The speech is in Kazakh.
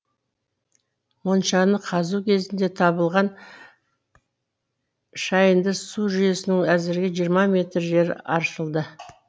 моншаны қазу кезінде табылған шайынды су жүйесінің әзірге жиырма метр жері аршылды